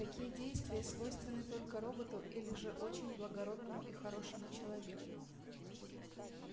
такие действия свойственны только роботу или же очень благородному и хорошему человеку